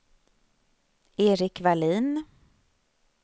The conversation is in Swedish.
Erik Wallin